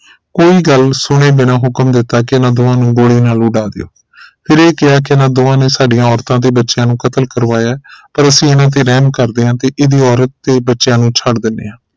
ਕੋਈ ਗੱਲ ਸੁਣੇ ਬਿਨਾ ਹੁਕਮ ਦਿੱਤਾ ਇਨ੍ਹਾਂ ਦੋਵਾਂ ਨੂੰ ਗੋਲੀ ਨਾਲ ਉਡਾ ਦਿਓ ਫਿਰ ਇਹ ਕਿਹਾ ਕਿ ਇਨ੍ਹਾਂ ਦੋਵਾਂ ਨੇ ਸਾਡੀਆਂ ਔਰਤਾਂ ਤੇ ਬੱਚਿਆਂ ਨੂੰ ਕਤਲ ਕਰਵਾਇਆ ਹੈ ਪਰ ਐਸੀ ਇਨ੍ਹਾਂ ਤੇ ਰਹਿਮ ਕਰਦੇ ਹਾਂ ਤੇ ਇਹਦੀ ਔਰਤ ਤੇ ਇਹ ਬੱਚਿਆਂ ਨੂੰ ਛੱਡ ਦਿੰਦੇ ਹਾਂ